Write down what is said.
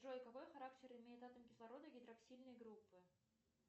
джой какой характер имеет атом кислорода гидроксильной группы